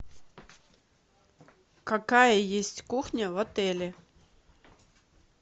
какая есть кухня в отеле